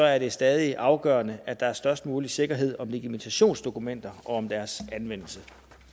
er det stadig afgørende at der er størst mulig sikkerhed om legitimationsdokumenter og om deres anvendelse